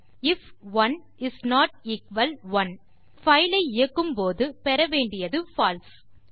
if 1 is not equal 1 நம் file ஐ இயக்கும்போது பெற வேண்டியது பால்சே